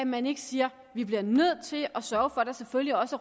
man ikke siger vi bliver nødt til at sørge for at der selvfølgelig også